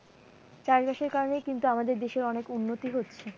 চাষবাসের কারণেই কিন্তু আমাদের দেশের অনেক উন্নতি হচ্ছে।